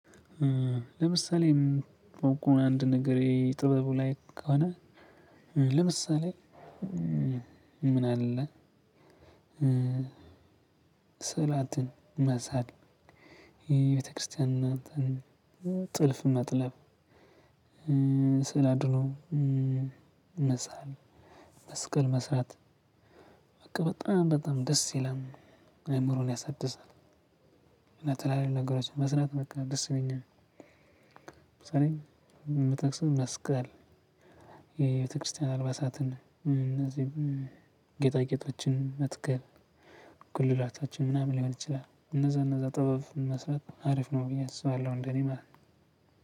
ለምሳሌ ቆይ ቆይ አንድ ነገሬ ጥበቡ ላይ ከሆነ ለምሳሌ ምን አለ? ስላትን መሳል የቤተክርስቲያን ጥልፍ መጥለብ ስላድኖ መሳል መስቀል መስራት በቃ በጣም በጣም ደስ ይላል። አእምሮን ያሳድሳል። እና ተለያዬ ነገሮችን መስራት በቃ ደስ ይለኛል። ለምሳሌ መተክሰስ መስቀል የቤተክርስቲያን አልባሳትን እነዚህም ጌጣጌጦችን መትከል ጉልላታችን ምናምን ሊሆን ይችላል። እነዛ እነዛ ጥበብ መስራት አሪፍ ነው ብዬ አስባለሁ። እንደኔ ማለት ነው።